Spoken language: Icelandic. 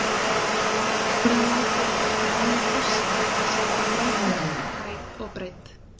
Þegar ákvörðun lá fyrir vann ég krossinn sem er um meter á hæð og breidd.